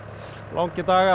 langir dagar